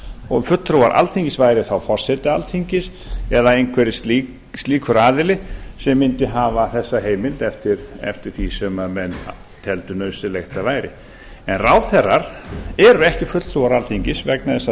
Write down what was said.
og fulltrúar alþingis væru þá forsetar alþingi eða einhver slíkur aðili sem mundi hafa þessa heimild eftir því sem menn teldu nauðsynlegt að væri en ráðherrar eru ekki fulltrúar alþingis vegna þess að